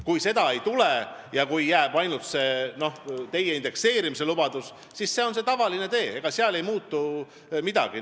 Kui seda ei tule ja kui jääb ainult see teie indekseerimislubadus, siis see on tavaline tee, seal ei muutu midagi.